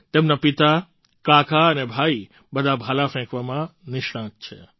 તેમના પિતા કાકા અને ભાઈ બધા ભાલા ફેંકવામાં નિષ્ણાત છે